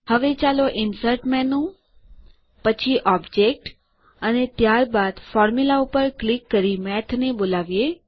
હવે ચાલો insert menu પછી ઓબ્જેક્ટ અને ત્યારબાદ ફોર્મ્યુલા ઉપર ક્લિક કરી મેથ ને બોલાવીએ